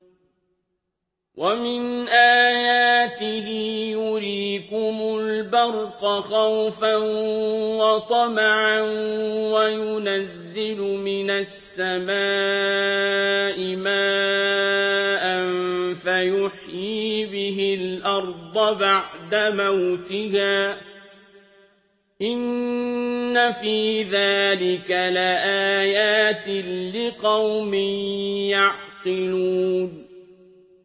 وَمِنْ آيَاتِهِ يُرِيكُمُ الْبَرْقَ خَوْفًا وَطَمَعًا وَيُنَزِّلُ مِنَ السَّمَاءِ مَاءً فَيُحْيِي بِهِ الْأَرْضَ بَعْدَ مَوْتِهَا ۚ إِنَّ فِي ذَٰلِكَ لَآيَاتٍ لِّقَوْمٍ يَعْقِلُونَ